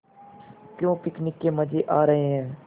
क्यों पिकनिक के मज़े आ रहे हैं